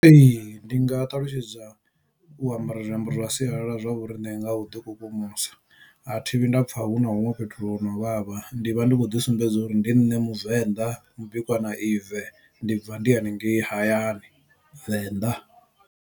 Ee ndi nga ṱalutshedza u ambara zwiambaro zwa sialala zwa vhoriṋe nga u ḓi kukumusa a thi vhuyi nda pfha hu na huṅwe fhethu hu no vhavha ndi vha ndi khou ḓi sumbedza uri ndi nṋe muvenḓa mubikwa na ive ndi bva ndi haningei hayani venḓa.